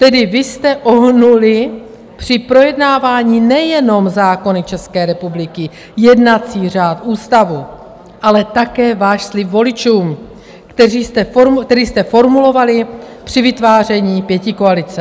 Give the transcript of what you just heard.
Tedy vy jste ohnuli při projednávání nejenom zákony České republiky, jednací řád, ústavu, ale také svůj slib voličům, který jste formulovali při vytváření pětikoalice.